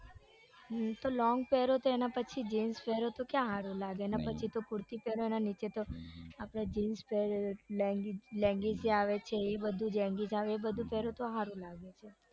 long પેરો તો એના પછી જીન્સ પેરો તો ક્યાં સારું લાગે એના પછી તો કુર્તી પેરો તો એના આપડે જીન્સ લેંગી આવે છે ઈ બધું પેરો તો હારું લાગે